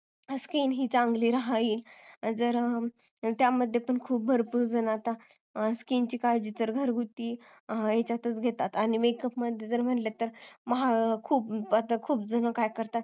आपली skin ही चांगली रहावी त्यामध्ये भरपूर जण आता ही skin ची काळजी तर घरगुती घेतात आणि makeup म्हणलं तर खूप जण काय करतात